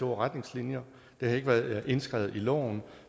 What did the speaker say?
retningslinjer det har ikke været indskrevet i loven og